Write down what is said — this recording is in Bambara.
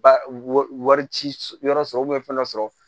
Ba wari ci yɔrɔ sɔrɔ fɛn dɔ sɔrɔ